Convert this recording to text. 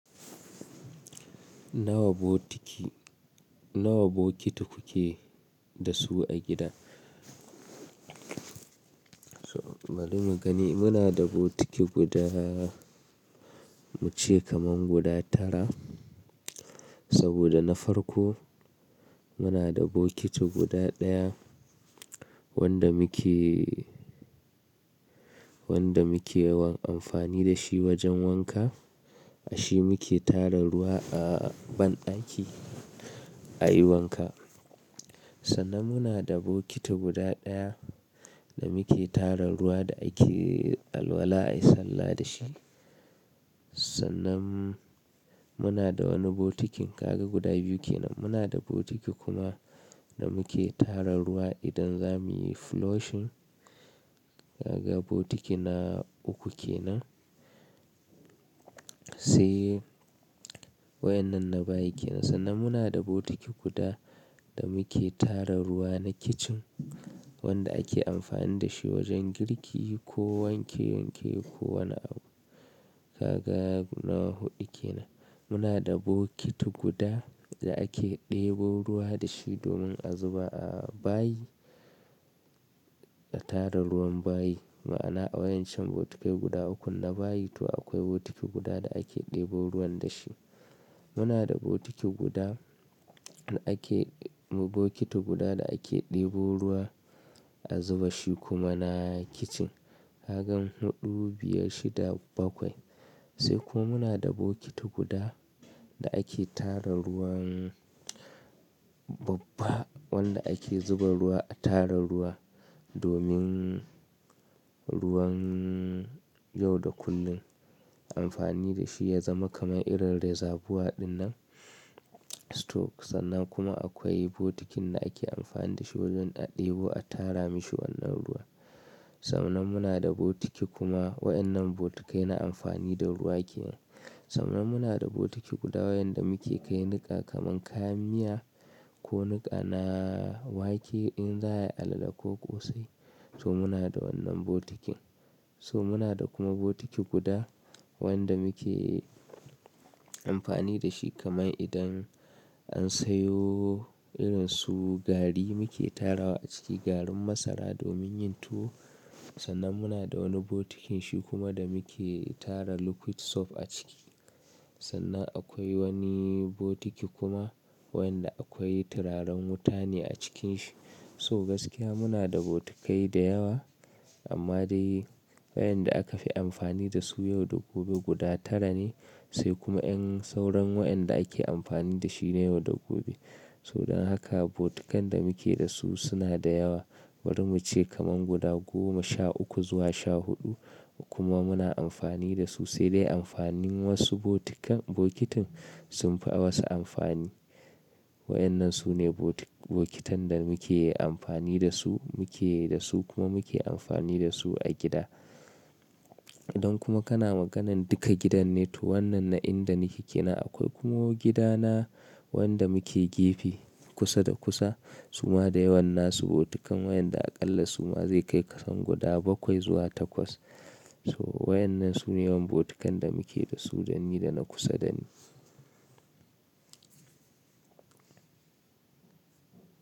Nawa bokiti, nawa bokiti kuke da su a gida? Bari mu gani. Muna da bokiti guda mu ce kaman guda tara sabida na farko muna da bokiti guda ɗaya wanda muke, wanda muke yawan amfani da shi wajen wanka. dA shi muke tara ruwa a banɗaki a yi wanka. Sannan muna da bokiti guda ɗaya da muke tara ruwa da ake alwala a yi sallah da shi. Sannan muna da wani bokitin kaga guda biyu kenan. Muna da bokiti kuma da muke tara ruwa idan za mu yi flushing. Ka ga bokiti na uku ke nan. Sai waƴannan na bayi kenan. Sannan muna da bokiti guda da muke tara ruwa na kitchen wanda ake amfani da shi wajen girki ko wanke wanke ko wani abu. Kaga guda huɗu kenan. Muna da bokiti guda da ake ɗebo ruwa da shi domin a zuba a bayi da tara ruwan bayi. Ma'ana a waƴancan bokitai guda ukun na bayi to akwai bokiti guda da ake ɗebo ruwan da shi. Muna da bokiti guda da ake, bokiti guda da ake ɗebo ruwa a zuba shi kuma na kitchen. Ka gan huɗu, biyar, shida, bakwai. Sai kuma muna da bokiti guda da ake tara ruwan, babba wanda ake zuba ruwa a tara ruwa domin ruwan yau da kullum. Amfani da shi ya zama kamar irin rezabuwa ɗin nan store. Sannan kuma akwai bokitin da ake amfani da shi wajen a ɗebo a tara mashi wannan ruwa. Sannan muna da bokiti kuma waƴannan bokitai na amfani da ruwa kenan. Sannan muna da bokiti guda waɗanda muke kai niƙa kaman kayan miya ko niƙa na wake in za a yi alale ko ƙosai. To muna da wannan bokitin. So muna da kuma bokiti guda wanda muke amfani da shi kaman idan an sayo irin su gari muke tarawa a ciki, garin masara domin yin tuwo. Sannan muna da wani bokitin shi kuma da muke tara liquid soap a ciki. Sannan akwai wani bokiti kuma waƴanda akwai turaren wuta ne a cikin shi. So gaskiya muna da bokitai da yawa amma dai waɗanda aka fi amfani da su yau da gobe guda tara ne sai kuma 'yan sauran waƴanda ake amfani da shi na yau da gobe. To dan haka bokitan da muke da su suna da yawa. Bari mu ce kaman guda goma, sha uku zuwa sha huɗu kuma muna amfani da su sai dai amfanin wasu bokitan, bokitin sun fi wasu amfani. Waƴannan su ne bokitan da muke amfani da su, muke da su kuma muke amfani da su a gida. Idan kuma kana maganan duka gidan ne to wannan na inda nake kenan akwai kuma gidana wanda muke gefe kusa da kusa suma da yawan nasu bokitan waɗanda aƙalla suma zai kai kasan guda bakwai zuwa takwas. So waƴannan su ne yawan bokitan da muke da su dani da na kusa dani.